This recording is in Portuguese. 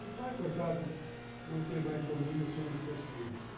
O pai, coitado, não tem mais domínio sobre os seus filhos.